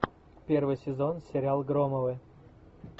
первый сезон сериал громовы